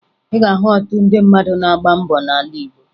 Ị ga-ahụ ọtụtụ ndị mmadụ na-agba mbọ n'ala Igbo